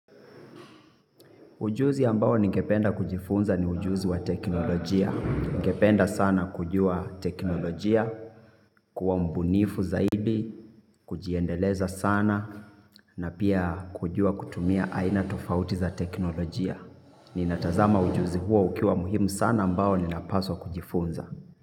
Ujuzi ambao ningependa kujifunza ni ujuzi wa teknolojia. Ningependa sana kujua teknolojia, kuwa mbunifu zaidi, kujiendeleza sana, na pia kujua kutumia aina tofauti za teknolojia. Ninatazama ujuzi huo ukiwa muhimu sana ambao ninapaswa kujifunza.